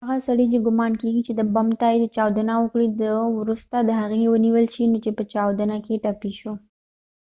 هغه سړی چې ګمان کېږی چې د بم ته یې چاودنه ورکړي ده وروسته د هغې و نیول شو چې په چاودنه کې ټپی شو